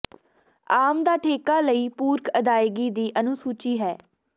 ਆਮ ਦਾ ਠੇਕਾ ਲਈ ਪੂਰਕ ਅਦਾਇਗੀ ਦੀ ਅਨੁਸੂਚੀ ਹੈ